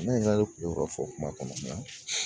Ne yɛrɛ kun yo ka fɔ kuma kɔnɔ nka